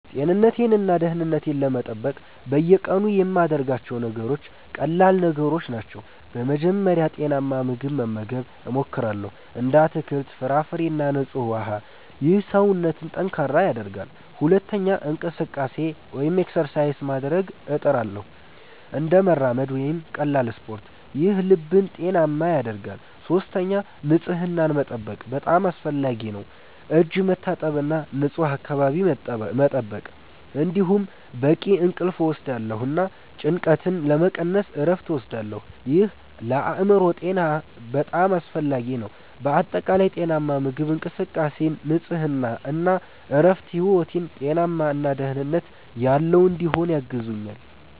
ጤንነቴን እና ደህንነቴን ለመጠበቅ በየቀኑ የምያደርጋቸው ነገሮች ቀላል ነገሮች ናቸው። በመጀመሪያ ጤናማ ምግብ መመገብ እሞክራለሁ፣ እንደ አትክልት፣ ፍራፍሬ እና ንጹህ ውሃ። ይህ ሰውነትን ጠንካራ ያደርጋል። ሁለተኛ እንቅስቃሴ (exercise) ማድረግ እጥርሳለሁ፣ እንደ መራመድ ወይም ቀላል ስፖርት። ይህ ልብን ጤናማ ያደርጋል። ሶስተኛ ንጽህናን መጠበቅ በጣም አስፈላጊ ነው፣ እጅ መታጠብ እና ንፁህ አካባቢ መጠበቅ። እንዲሁም በቂ እንቅልፍ እወስዳለሁ እና ጭንቀትን ለመቀነስ እረፍት እወስዳለሁ። ይህ ለአእምሮ ጤና በጣም አስፈላጊ ነው። በአጠቃላይ ጤናማ ምግብ፣ እንቅስቃሴ፣ ንጽህና እና እረፍት ሕይወቴን ጤናማ እና ደህንነት ያለው እንዲሆን ያግዙኛል